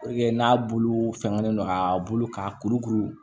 n'a bulu sɛgɛnnen don a bulu ka kurukuru